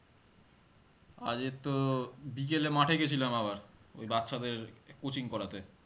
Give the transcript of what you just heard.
আজকে তো বিকেলে মাঠে গেছিলাম আবার ওই বাচ্ছাদের coaching করাতে